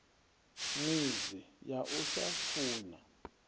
midzi ya u sa funa